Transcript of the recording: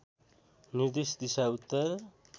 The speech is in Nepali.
निर्देश दिशा उत्तर